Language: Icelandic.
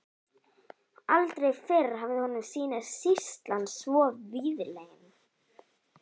Aldrei fyrr hafði honum sýnst sýslan svo víðlend.